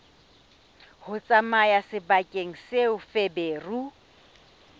ho tsamaya sebakeng seo feberu